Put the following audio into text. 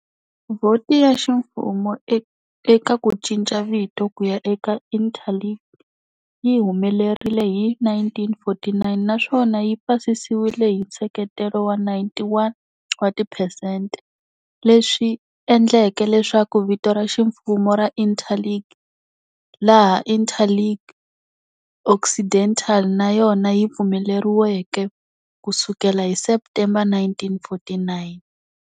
Vhoti ya ximfumo eka ku cinca vito kuya eka Interlingue yi humelerile hi 1949 naswona yi pasisiwile hi nseketelo wa 91 wa tiphesente, leswi endleke leswaku vito ra ximfumo ra Interlingue, laha Interlingue Occidental, na yona yi pfumeleriweke, kusukela hi September 1949.